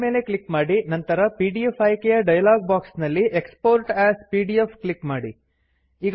file ಮೇಲೆ click ಮಾಡಿ ನಂತರ ಪಿಡಿಎಫ್ ಆಯ್ಕೆಯ ಡೈಲಾಗ್ ಬಾಕ್ಸ್ ನಲ್ಲಿ ಎಕ್ಸ್ಪೋರ್ಟ್ ಎಎಸ್ ಪಿಡಿಎಫ್ ಕ್ಲಿಕ್ ಮಾಡಿ